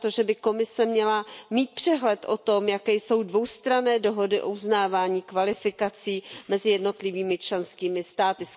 na to, že by Komise měla mít přehled o tom, jaké jsou dvoustranné dohody o uznávání kvalifikací mezi jednotlivými členskými státy.